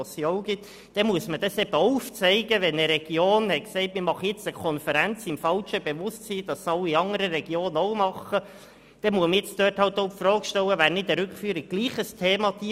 Wenn eine Region sich für eine Konferenz entschieden hat, im falschen Glauben, dass andere Regionen auch mitmachen, so stellt sich die Frage, ob eine Rückführung möglicherweise nicht doch ein Thema ist.